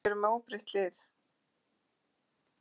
Keflvíkingar eru með óbreytt lið.